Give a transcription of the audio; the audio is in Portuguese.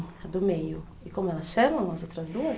A do meio, e como elas chamam, as outras duas?